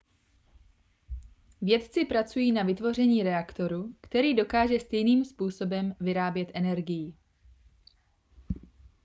vědci pracují na vytvoření reaktoru který dokáže stejným způsobem vyrábět energii